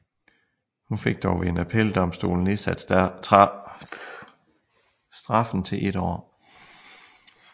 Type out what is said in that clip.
Hun fik dog ved en appeldomstol nedsat straffen til et år